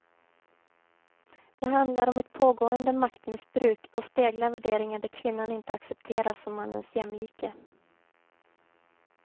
Det handlar om ett pågående maktmissbruk och speglar värderingar där kvinnan inte accepteras som mannens jämlike.